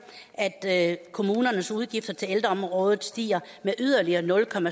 at kommunernes udgifter til ældreområdet stiger med yderligere nul